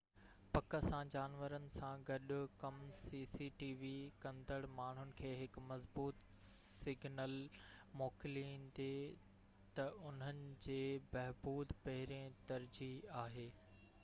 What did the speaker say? cctv پڪ سان جانورن سان گڏ ڪم ڪندڙ ماڻهن کي هڪ مضبوط سگنل موڪليندي تہ انهن جي بهبود پهرين ترجيح آهي